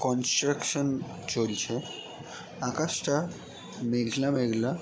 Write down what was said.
Construction চলছে আকাশটা মেঘলা মেঘলা।